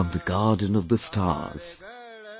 From the garden of the stars,